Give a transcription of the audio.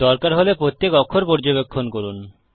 দরকার হলে প্রত্যেক অক্ষর পর্যবেক্ষণ করুন